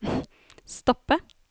stoppe